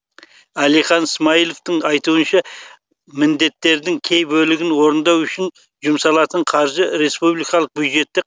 әлихан смайыловтың айтуынша міндеттердің кей бөлігін орындау үшін жұмсалатын қаржы республикалық бюджетте